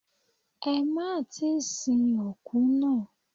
Ẹ má tíì sin òkú náà.